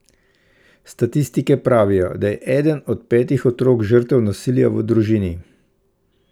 Statistike pravijo, da je eden od petih otrok žrtev nasilja v družini.